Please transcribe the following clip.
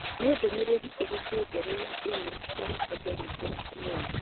Nĩ ndũmĩrĩri ĩrĩkũ njerũ ya i-mīrū ngoretwo ngĩamũkĩra ũmũthĩ